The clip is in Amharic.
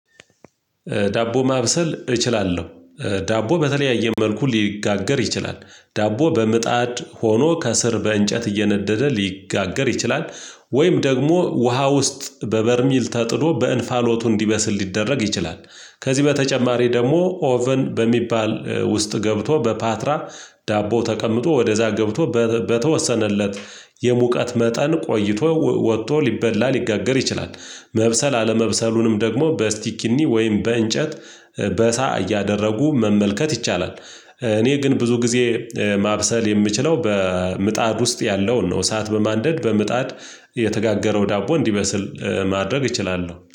ዳቦ ማብሰል እችላለሁ። ዳቦ በተለያየ መልኩ ሊጋገር ይችላል ዳቦ በምጣድ ሆኖ ከስር በእንጨት እየነደደ ሊጋገር ይችላል። ወይም ደግሞ ውሃ ውስጥ በበርሚል ተጥዶ በእንፋሎቱ እንዲበስል ሊደረግ ይችላል። ከዚህ በተጨማሪ ደግሞ ኦቨን በሚባል ውስጥ ገብቶ በፓትራ ዳቦ ተቀምጦ ወደዛ ገብቶ በተወሰነለት የሙቀት መጠን ቆይቶ ወጥቶ ሊበላ ሊጋገር ይችላል። መብሰል አለመብሰሉንም ደግሞ በስቲክኒ ወይም በእንጨት በሳ እያደረጉ መመልከት ይቻላል። እኔ ግን ብዙ ጊዜ ማብሰል የምችለው በምጣድ ውስጥ ያለውን ነው እሳት በማንደድ በምጣድ የተጋገረው ዳቦ እንዲበስል ማድረግ እችላለሁ